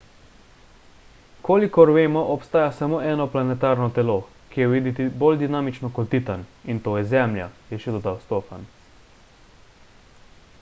kolikor vemo obstaja samo eno planetarno telo ki je videti bolj dinamično kot titan in to je zemlja je še dodal stofan